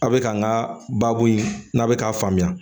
A bɛ k'an ka baabu in n'a bɛ k'a faamuya